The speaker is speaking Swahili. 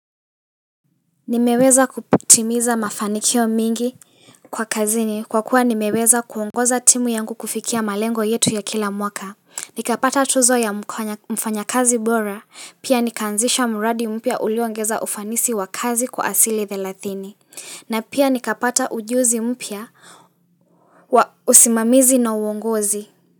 Nimeweza kutimiza mafanikio mingi kwa kazini kwa kuwa nimeweza kuongoza timu yangu kufikia malengo yetu ya kila mwaka nikapata tuzo ya mfanya kazi bora pia nikaanzisha mradi mpya ulioongeza ufanisi wa kazi kwa asili thelathini na pia nikapata ujuzi mpya wa usimamizi na uongozi.